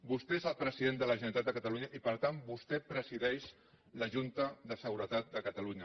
vostè és el president de la generalitat de catalunya i per tant vos tè presideix la junta de seguretat de catalunya